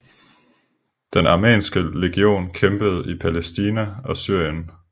Den armenske legion kæmpede i Palæstina og Syrien